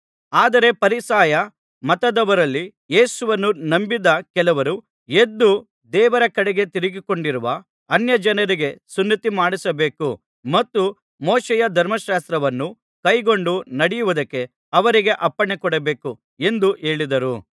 ಆದರೆ ಫರಿಸಾಯ ಮತದವರಲ್ಲಿ ಯೇಸುವನ್ನು ನಂಬಿದ್ದ ಕೆಲವರು ಎದ್ದು ದೇವರ ಕಡೆಗೆ ತಿರುಗಿಕೊಂಡಿರುವ ಅನ್ಯಜನರಿಗೆ ಸುನ್ನತಿಮಾಡಿಸಬೇಕು ಮತ್ತು ಮೋಶೆಯ ಧರ್ಮಶಾಸ್ತ್ರವನ್ನು ಕೈಕೊಂಡು ನಡೆಯುವುದಕ್ಕೆ ಅವರಿಗೆ ಅಪ್ಪಣೆಕೊಡಬೇಕು ಎಂದು ಹೇಳಿದರು